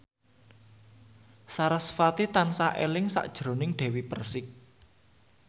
sarasvati tansah eling sakjroning Dewi Persik